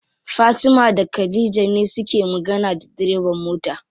Fatima da khadija ne suke magana da direban mota.